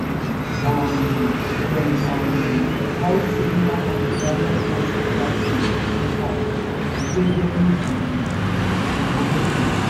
um dem um hold seminar on ovarian cancer last week wey pass e dey very um informative